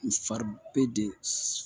N fa be de